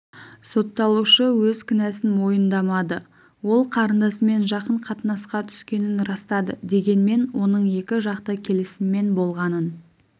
сотталушы өз кінәсін мойындамады ол қарындасымен жақын қатынасқа түскенін растады дегенмен оның екі жақты келісіммен болғанын